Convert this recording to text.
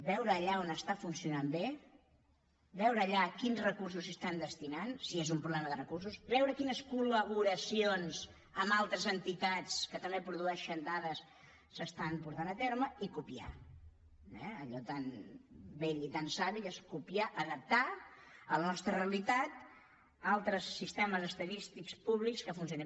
veure allà on funciona bé veure allà quins recursos s’hi destinen si és un problema de recursos veure quines col·laboracions amb altres entitats que també produeixen dades es porten a terme i copiar ho eh allò tan vell i tan savi que és copiar adaptar a la nostra realitat altres sistemes estadístics públics que funcionin